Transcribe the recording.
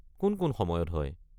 কোন কোন সময়ত হয়?